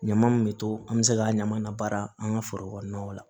Ɲama min bɛ to an bɛ se ka ɲama na baara an ka foro kɔnɔnaw la